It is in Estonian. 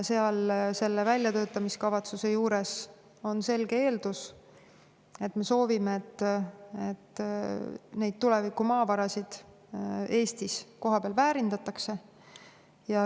Selle väljatöötamiskavatsuse juures on selge eeldus: me soovime, et neid tuleviku maavarasid Eestis kohapeal väärindataks.